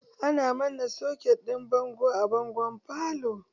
Ana manna soket ɗin bango a bangon falo.